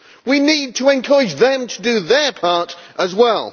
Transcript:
We need to encourage them to do their part as well.